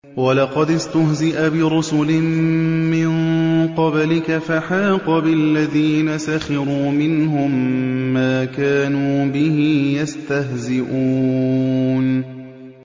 وَلَقَدِ اسْتُهْزِئَ بِرُسُلٍ مِّن قَبْلِكَ فَحَاقَ بِالَّذِينَ سَخِرُوا مِنْهُم مَّا كَانُوا بِهِ يَسْتَهْزِئُونَ